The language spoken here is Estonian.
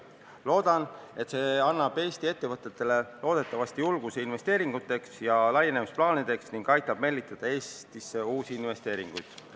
Loodan, et see annab Eesti ettevõtetele julgust teha investeeringuid ja laienemisplaane ning aitab meelitada Eestisse uusi investeeringuid.